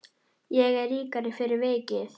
Ég er ríkari fyrir vikið.